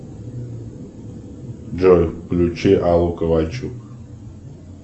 джой включи аллу ковальчук